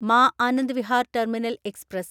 മാ Anand Vihar terminal express